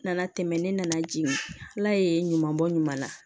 Nana tɛmɛ ne nana jigin ala ye ɲuman bɔ ɲuman na